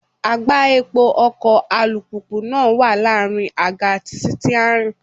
Àgbá epo ọkọ̀ alùpùpù náà wà láàrin àga àti sítíárìn.